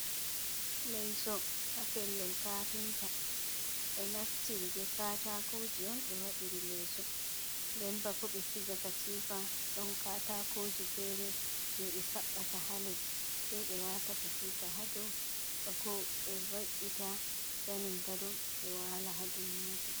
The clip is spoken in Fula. Leyso haa pellel kapinta. Ɓe naftiri be katakoji on ɓe waɗiri leso, nden bako ɓe siga katifa ɗon kataakoji fere jei ɓe saɓɓata haa les, sai be waata katifa haa dou, bako ɓe ve’ita zanin gado, ɓe waala haa dou majum.